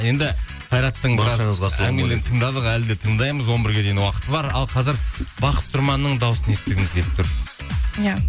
енді қайраттың әңгімелерін тыңдадық әлі де тыңдаймыз он бірге дейін уақыт бар ал қазір бақыт тұрманның дауысын естігіміз келіп тұр иә